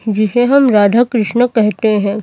जिसे हम राधा कृष्ण कहते हैं।